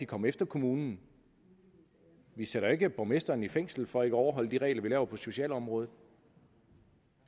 komme efter kommunen vi sætter ikke borgmesteren i fængsel for ikke at overholde de regler vi laver på socialområdet